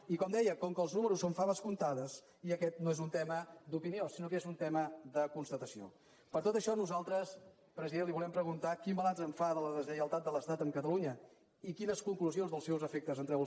i com deia com que els números són faves comptades i aquest no és un tema d’opinió sinó que és un tema de constatació per tot això nosaltres president li volem preguntar quin balanç en fa de la deslleialtat de l’estat amb catalunya i quines conclusions dels seus efectes en treu el seu govern